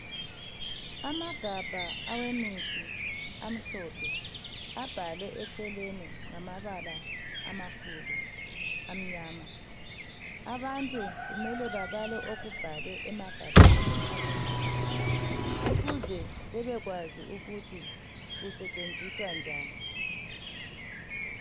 Amagabha awemithi amhlophe abhalwe eceleni ngamabala amakhulu amyama abantu kumele babale okubhalwe emagabheni awomuthi ukuze babekwazi uku usentshenziswa njani.